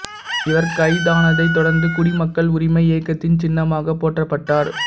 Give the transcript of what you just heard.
இவர் கைதானதைத் தொடர்ந்து குடிமக்கள் உரிமை இயக்கத்தின் சின்னமாகப் போற்றப்பட்டார்